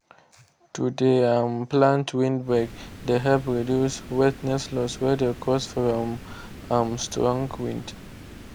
to de um plant windbreak de help reduce wetness loss wey de caused from um strong winds.